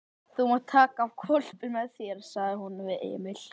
Þú mátt taka hvolpinn með þér, sagði hún við Emil.